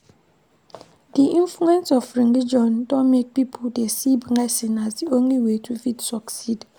Di influence of religion don make pipo dey see blessing as di only way to fit succeed